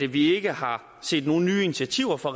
vi ikke har set nogen nye initiativer fra